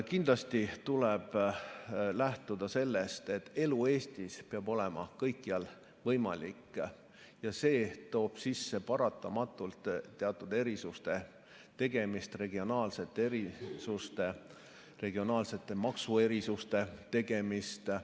Kindlasti tuleb lähtuda sellest, et elu Eestis peab olema kõikjal võimalik, ja see toob paratamatult sisse teatud erisuste tegemise, regionaalsete erisuste, regionaalsete maksuerisuste tegemise.